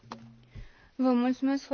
Vă mulțumesc foarte mult.